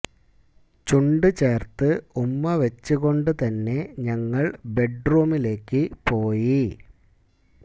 ചുണ്ട് ചേർത്ത് ഉമ്മ വെച്ച് കൊണ്ട് തന്നെ ഞങ്ങൾ ബെഡ് റൂമിലേക്ക് പോയി